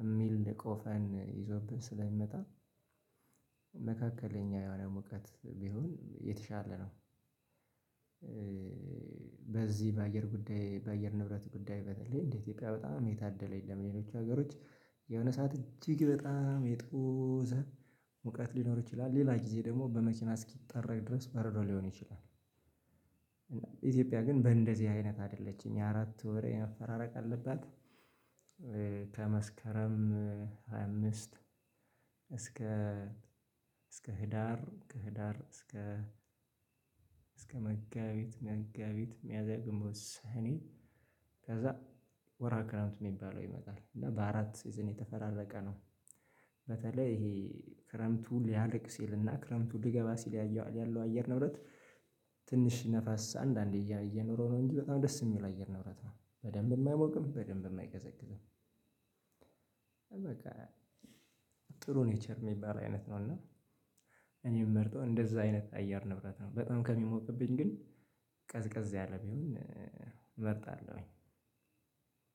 የሚል ቆፈን ይዞብን ስለሚመጣ። መካከለኛ የሆነ እውቀት ቢሆን የተሻለ ነው። በዚህ በአየር ጉዳይ በአየር ንብረት ጉዳይ በተለይ እንደ ኢትዮጵያ በጣም የታደለ የለም የሌሎች ሀገሮች የሆነ ሰዓት እጅግ በጣም የጦዘ ሙቀት ሊኖር ይችላል ሌላ ጊዜ ደግሞ በመኪና እስኪጠረግ ድረስ በረዶ ሊሆን ይችላል። ኢትዮጵያ ግን በእንደዚህ አይነት አይደለችም የአራት ወር መፈራረቅ አለባት። ከመስከረም ሃያ አምስት እስከ እስከ ህዳር ከህዳር እስከ እስከ መጋቢት መጋቢት ሚያዚያ ግንቦት ሰኔ ከዛ ወርሃ ክረምት የሚባለው ይመጣል እና በአራት ሲዝን የተፈራረቀ ነው። በተለይ ይሄ ክረምቱ ሊያልቅ ሲልና ክረምቱ ሊገባ ሲል ያየዋል ያለው አየር ንብረት። ትንሽ ነፋስ አንዳንዴ እየኖረ ነው እንጂ በጣም ደስ የሚል አየር ንብረት ነው በደንብም አይሞቅም በደንብ አይቀዘቅዝም። በቃ ጥሩ ኔቸር የሚባል አይነት ነው። እና እኔም የምመርጠው እንደዛ አይነት አየር ንብረት ነው። በጣም ከሚሞቅብኝ ግን ቀዝቀዝ ያለ ቢሆን እመርጣለሁኝ።